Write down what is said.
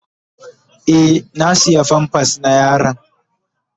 Eh, na siya "pampers " na yaron.